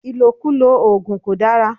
Ìlòkulò ògùn kò dára